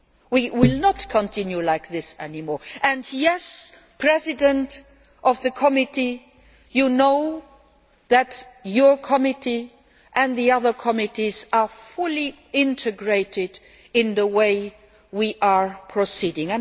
We will not continue like this any more and, yes, Chairman of the committee, you know that your committee and the other committees are fully integrated in the way we are preceding.